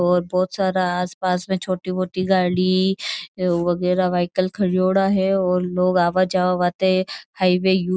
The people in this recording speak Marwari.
और बहुत सारा आसपास में छोटी मोटी गाड़ी वगेरा व्हीकल खरियोडा है और लोग आवाजवा वाटे हाईवे --